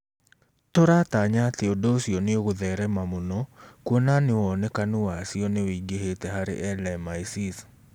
Tũratanya atĩ ũndũ ũcio nĩ ũgũtherema mũno kuona nĩ wonekanu wa cio nĩ wĩingĩhĩte harĩ LMICs.